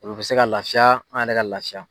Olu bɛ se ka laafiya an yɛrɛ ka laafiya.